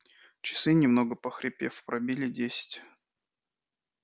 часы немного похрипев пробили десять